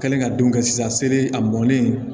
Kɛlen ka don ka sisan sere a mɔnnen